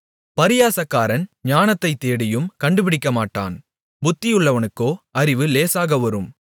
பரியாசக்காரன் ஞானத்தைத் தேடியும் கண்டுபிடிக்கமாட்டான் புத்தியுள்ளவனுக்கோ அறிவு லேசாகவரும்